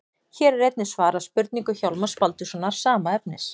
Hér er einnig svarað spurningu Hjálmars Baldurssonar, sama efnis.